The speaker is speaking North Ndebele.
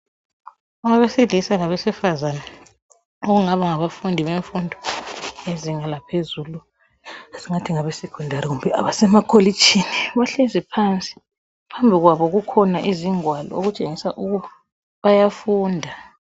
abesilisa labesifazana okungaba ngabafundi bezinga laphezulu abe secondary kumbe abese makholitshini bahlezi phansi phambili kwabo kulengwalo okutshengisela ukuthi bayafunda